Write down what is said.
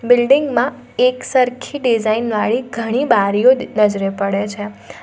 Building માં એકસરખી design વાળી ઘણી બારીઓ નજરે પડે છે.